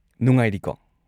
ꯅꯨꯡꯉꯥꯏꯔꯤꯀꯣ?